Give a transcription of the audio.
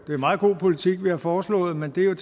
er meget god politik vi har foreslået men det er